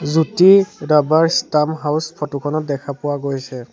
জ্যোতি ৰাভাৰ stamp house photo খনত দেখা পোৱা গৈছে।